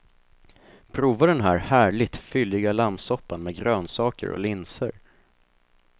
Prova den här härligt, fylliga lammsoppan med grönsaker och linser.